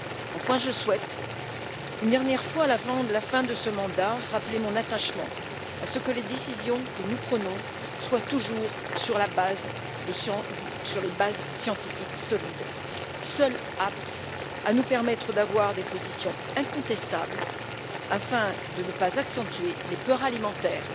Enfin, je souhaite, une dernière fois avant de la fin de ce mandat, rappeler mon attachement à ce que les décisions que nous prenons se fondent toujours sur des bases scientifiques solides, seules aptes à nous permettre d'avoir des positions incontestables afin de ne pas accentuer les peurs alimentaires,